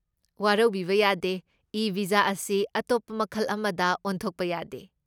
ꯋꯥꯔꯧꯕꯤꯕ ꯌꯥꯗꯦ, e visa ꯑꯁꯤ ꯑꯇꯣꯞꯄ ꯃꯈꯜ ꯑꯃꯗ ꯑꯣꯟꯊꯣꯛꯄ ꯌꯥꯗꯦ꯫